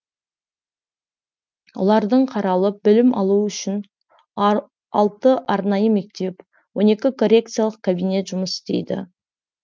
олардың қаралып білім алуы үшін алты арнайы мектеп он екі коррекциялық кабинет жұмыс істейді